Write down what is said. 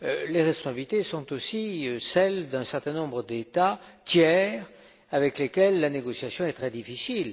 les responsabilités sont aussi celles d'un certain nombre d'États tiers avec lesquels la négociation est très difficile.